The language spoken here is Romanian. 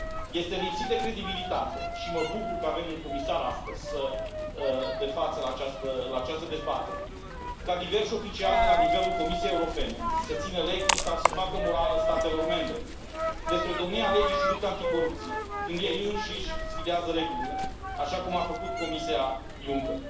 Este lipsit de credibilitate, și mă bucur că avem un comisar astăzi de față la această dezbatere, ca diverși oficiali de la nivelul Comisiei Europene să țină lecții sau să facă morală statelor membre despre domnia legii și lupta anticorupție, când ei înșiși sfidează regulile, așa cum a făcut Comisia Juncker.